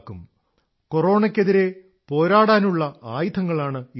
കൊറോണയ്ക്കെതിരെ പോരാടാനുള്ള ആയുധങ്ങളാണ് ഈ നിയമങ്ങൾ